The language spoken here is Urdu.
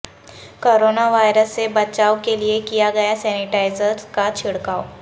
کورونا وائرس سے بچائو کیلئے کیا گیا سینی ٹائز ر کا چھڑکائو